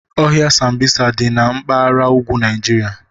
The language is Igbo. Ọhịa Sambisa dị na mpaghara ugwu Naịjirịa.